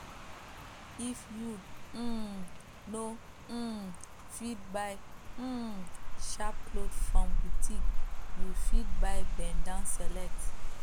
if you um no um fit buy um sharp cloth from boutique you fit buy bend down select